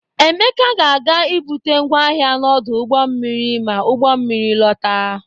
Emeka ga-aga ibute ngwa ahia n'ọdụ ụgbọ mmiri ma ugbọ mmiri lọta.